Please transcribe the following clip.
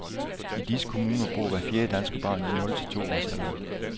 I disse kommuner bor hver fjerde danske barn i nul til to års alderen.